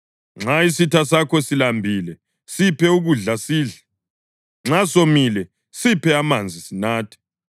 Nxa isitha sakho silambile siphe ukudla sidle; nxa somile siphe amanzi sinathe.